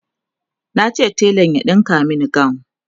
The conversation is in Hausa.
nace telan ya ɗinka Mani gawun